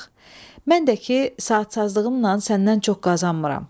Mən də ki, saatçazlığımla səndən çox qazanmıram.